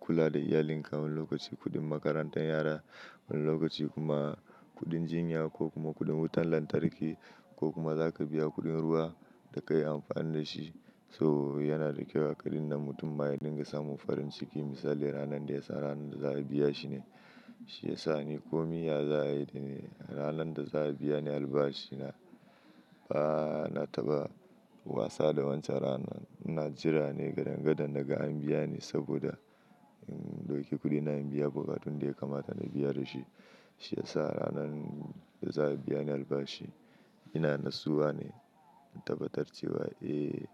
kula da iyalinka wani lokaci kuɗin makarantar yara, wani lokaci kuma kuɗin jinya ko kuma kuɗin wutar lantarki ko kuma za ka biya kuɗin ruwa da ka yi amfani da shi. So yana da kyau a ƙaɗin nan mutum ma ya dinga samun farin ciki. Misali ranar da ya sa ranar da za a biya shi ne shi ya sa ni komiya za a yi da ni. Ranar da za a biya ni albashi na, ba na taɓa wasa da wancan ranar. Ina jira ne gadon gadon daga an biya ni saboda, um, dauki kuɗina in biya bukatun da ya kamata na biya da shi. Shi ya sa ranar da za a biya ni albashi ina natsuwa ne na tabbatarcewa, eh.